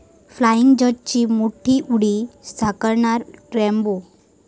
flying जट्ट'ची मोठी उडी, साकारणार 'रॅम्बो'